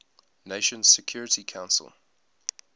nations security council